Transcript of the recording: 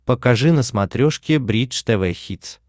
покажи на смотрешке бридж тв хитс